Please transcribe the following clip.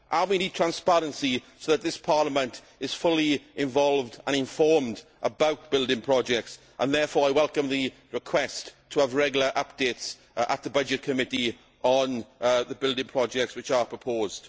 We need transparency so that this Parliament is fully involved and informed about building projects and therefore I welcome the request to have regular updates at the Committee on Budgets on the building projects which are proposed.